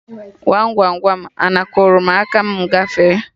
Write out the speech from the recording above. Gwam Gwam Gwam, ana akụrụ mụ aka ma mụ gafee